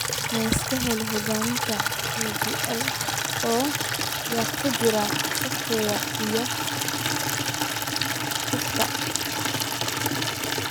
Yaa iska leh hirgelinta DPL, oo ??ay ku jiraan software iyo xogta?